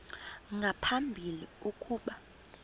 nga phambili ukuba